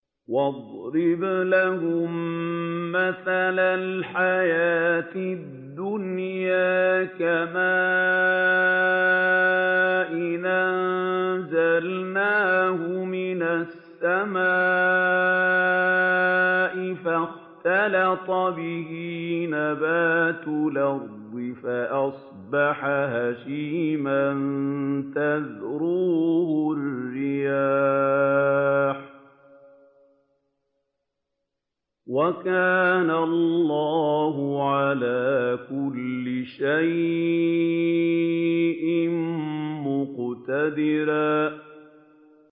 وَاضْرِبْ لَهُم مَّثَلَ الْحَيَاةِ الدُّنْيَا كَمَاءٍ أَنزَلْنَاهُ مِنَ السَّمَاءِ فَاخْتَلَطَ بِهِ نَبَاتُ الْأَرْضِ فَأَصْبَحَ هَشِيمًا تَذْرُوهُ الرِّيَاحُ ۗ وَكَانَ اللَّهُ عَلَىٰ كُلِّ شَيْءٍ مُّقْتَدِرًا